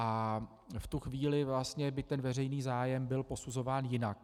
A v tu chvíli by ten veřejný zájem byl posuzován jinak.